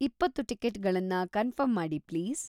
ಇಪ್ಪತ್ತು ಟಿಕೆಟ್‌ಗಳನ್ನ ಕನ್ಫರ್ಮ್‌ ಮಾಡಿ ಪ್ಲೀಸ್.